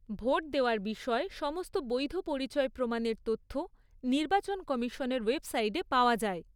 Vote দেওয়ার বিষয়ে সমস্ত বৈধ পরিচয় প্রমাণের তথ্য নির্বাচন কমিশনের ওয়েবসাইটে পাওয়া যায়।